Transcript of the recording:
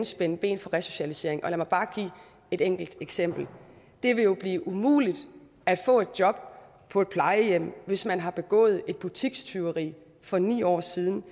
spænde ben for resocialisering lad mig bare give et enkelt eksempel det vil jo blive umuligt at få et job på et plejehjem hvis man har begået et butikstyveri for ni år siden